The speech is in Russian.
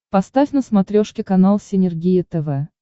поставь на смотрешке канал синергия тв